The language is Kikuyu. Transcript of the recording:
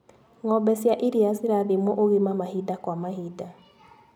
Ngombe cia iria cirathimwo ũgima mahinda kwa mahinda.